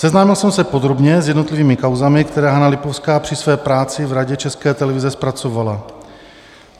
Seznámil jsem se podrobně s jednotlivými kauzami, které Hana Lipovská při své práci v Radě České televize zpracovala.